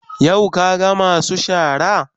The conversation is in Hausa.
Yau ka ga masu shara?